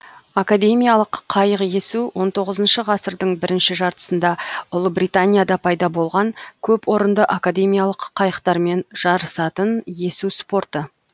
академиялық қайық есу он тоғызыншы ғасырдың бірінші жартысында ұлыбританияда пайда болған көп орынды академиялық қайықтармен жарысатын есу спорты